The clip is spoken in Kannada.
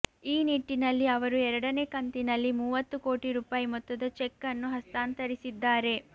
ಈ ನಿಟ್ಟಿನಲ್ಲಿ ಅವರು ಎರಡನೇ ಕಂತಿನಲ್ಲಿ ಮೂವತ್ತು ಕೋಟಿ ರೂಪಾಯಿ ಮೊತ್ತದ ಚೆಕ್ ಅನ್ನು ಹಸ್ತಾಂತರಿಸಿದ್ದಾರೆ